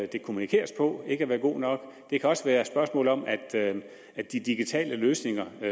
det kommunikeres på ikke har været god nok det kan også være et spørgsmål om at at de digitale løsninger